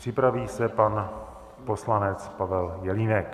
Připraví se pan poslanec Pavel Jelínek.